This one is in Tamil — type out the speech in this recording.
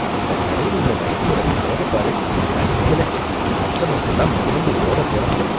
இந்த கடைல உள்ள லைட்ஸோட கலர பாரு, சகிக்கல! கஸ்டமர்ஸ் எல்லாம் மிரண்டு ஓடப் போறாங்க.